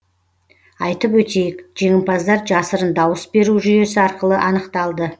айтып өтейік жеңімпаздар жасырын дауыс беру жүйесі арқылы анықталды